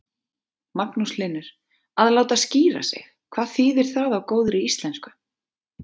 Magnús Hlynur: Að láta skíra sig, hvað þýðir það á góðri íslensku?